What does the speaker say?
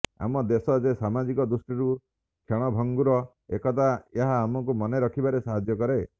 ଆମ ଦେଶ ଯେ ସାମାଜିକ ଦୃଷ୍ଟିରୁ କ୍ଷଣଭଂଗୁର ଏକଥା ଏହା ଆମକୁ ମନେରଖିବାରେ ସାହାଯ୍ୟ କରେ